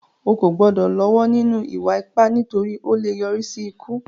O kò gbọ́dọ̀ lọ́wọ́ nínú ìwà ipá, nítorí ó lè yọrí sí ikú